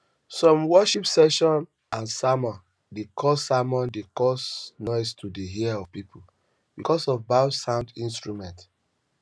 some worship sessions and sermons de cause sermons de cause noise to the ears of pipo because of bad sound instruments